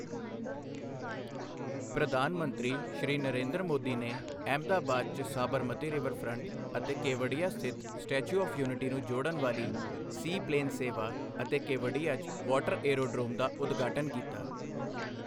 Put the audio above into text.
ਪ੍ਰਧਾਨ ਮੰਤਰੀ, ਸ਼੍ਰੀ ਨਰੇਂਦਰ ਮੋਦੀ ਨੇ ਅਹਿਮਦਾਬਾਦ 'ਚ ਸਾਬਰਮਤੀ ਰਿਵਰਫ਼੍ਰੰਟ ਅਤੇ ਕੇਵਡੀਆ ਸਥਿਤ ਸਟੈਚੂ ਆੱਵ੍ ਯੂਨਿਟੀ ਨੂੰ ਜੋੜਨ ਵਾਲੀ ਸੀ ਪਲੇਨ ਸੇਵਾ ਅਤੇ ਕੇਵਡੀਆ 'ਚ ਵਾਟਰ ਏਅਰੋਡ੍ਰੋਮ ਦਾ ਉਦਘਾਟਨ ਕੀਤਾ।